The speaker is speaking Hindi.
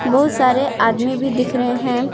बहुत सारे आदमी भी दिख रहे हैं।